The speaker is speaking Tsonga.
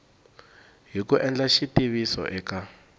hi ku endla xitiviso eka